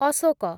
Ashok